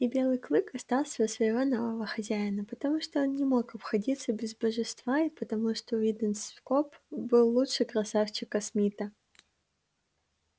и белый клык остался у своего нового хозяина потому что он не мог обходиться без божества и потому что уидон скоп был лучше красавчика смита